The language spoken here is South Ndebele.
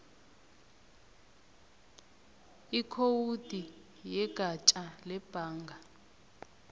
ikhowudi yegatja lebhanga